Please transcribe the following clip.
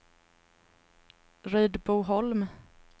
Rydboholm